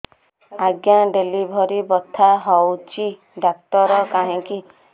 ଆଜ୍ଞା ଡେଲିଭରି ବଥା ହଉଚି ଡାକ୍ତର କାହିଁ କି